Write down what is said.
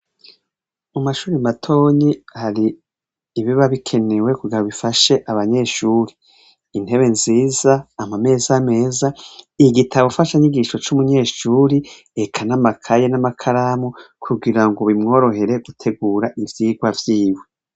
Mu mashure matonyi hari ibiba bikenewe kugira ngo bifashe abanyeshuri intebe nziza amameza neza igitabofashanyigisho c' umunyeshure eka n' amakaye n' amakaramu kugira ngo bimworohere kwitegura ivyigwa vyiwe.